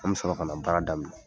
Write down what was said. An bɛ sɔrɔ ka na baara daminɛ.